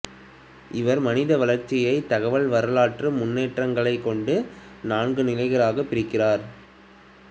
இவர் மனித வளர்ச்சியை தகவல் வரலாற்று முன்னேற்றங்களைக் கொண்டு நான்கு நிலைகளாகப் பிரிக்கிறார்